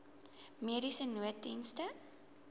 mediese nooddienste